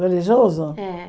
Religioso? É